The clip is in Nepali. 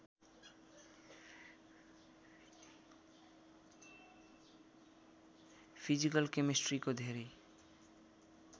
फिजिकल केमेस्ट्रीको धेरै